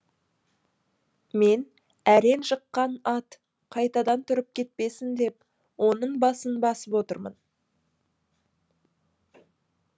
мен әрең жыққан ат қайтадан тұрып кетпесін деп оның басын басып отырмын